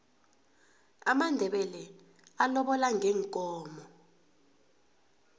amandebele alobola ngeenkomo